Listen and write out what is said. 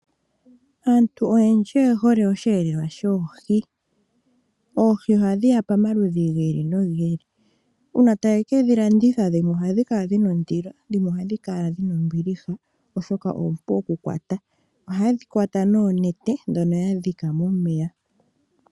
Aantu oyendji oye hole osheelelwa shoohi. Oohi ohadhi ya pamaludhi gi li nogi li. Uuna taye ke dhi landitha dhimwe ohadhi kala dhi na ondilo dhimwe ohadhi kala dhi na ombiliha, oshoka oompu okukwata. Ohaye dhi kwata noonete ndhono ya dhika momeya.